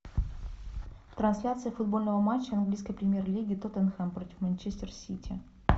трансляция футбольного матча английской премьер лиги тоттенхэм против манчестер сити